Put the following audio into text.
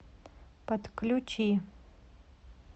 подключи